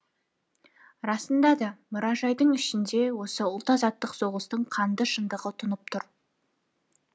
расында да мұражайдың ішінде осы ұлт азаттық соғыстың қанды шындығы тұнып тұр